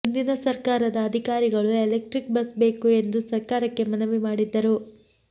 ಹಿಂದಿನ ಸರ್ಕಾರದ ಅಧಿಕಾರಿಗಳು ಎಲೆಕ್ಟ್ರಿಕ್ ಬಸ್ ಬೇಕು ಎಂದು ಸರ್ಕಾರಕ್ಕೆ ಮನವಿ ಮಾಡಿದ್ದರು